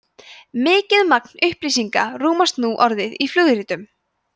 mikið magn upplýsinga rúmast nú orðið í flugritum